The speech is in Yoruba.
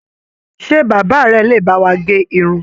Ṣe bàbá rẹ̀ le bá wà gé Irun?